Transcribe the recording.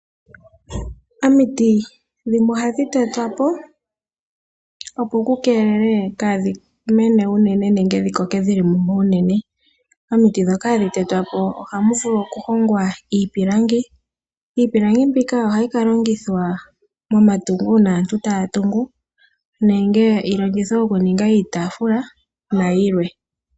Omiti dhimwe ohadhi tetwa po opo ku keelelwe kaadhi mene unene nenge dhi koke dhili mumwe unene. Omiti ndhoka hadhi tetwapo ohamu vulu oku hongwa iipilangi, iipilangi mbika ohayi ka longithwa momatungo uuna aantu taya tungu nenge yi longithwe okuninga iitaafula nayilwe.